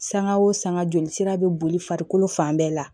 Sanga o sanga joli sira be boli farikolo fan bɛɛ la